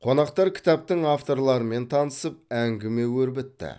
қонақтар кітаптың авторларымен танысып әңгіме өрбітті